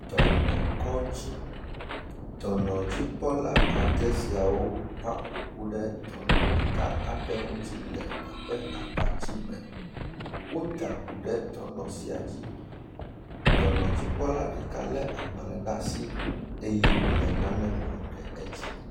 Dɔnɔkɔdzi, dɔnɔ dzikpɔla ade siawo va ƒoƒu ɖe dɔnɔ ɖeka aɖe ŋuti le eƒe abatime wo da ʋu ɖe dɔnɔ sia dzi dɔnɔ dzikpɔla ɖeka le agbalẽ ɖasi eye wole nane ŋlɔ ɖe edzi.